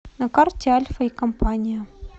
на карте альфа и компания